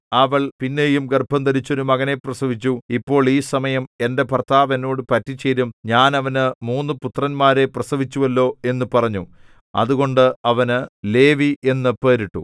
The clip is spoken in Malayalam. അവൾ പിന്നെയും ഗർഭംധരിച്ച് ഒരു മകനെ പ്രസവിച്ചു ഇപ്പോൾ ഈ സമയം എന്റെ ഭർത്താവ് എന്നോട് പറ്റിച്ചേരും ഞാൻ അവന് മൂന്നു പുത്രന്മാരെ പ്രസവിച്ചുവല്ലോ എന്നു പറഞ്ഞു അതുകൊണ്ട് അവന് ലേവി എന്നു പേരിട്ടു